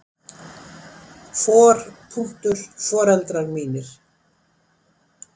For. foreldrar mínir.